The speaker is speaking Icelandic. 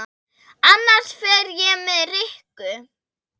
Annars fer ég með Rikku